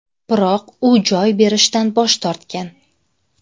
Biroq u joy berishdan bosh tortgan.